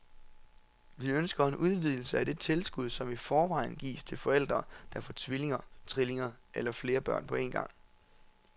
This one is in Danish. Vi ønsker en udvidelse af det tilskud, som i forvejen gives til forældre, der får tvillinger, trillinger eller flere børn på en gang.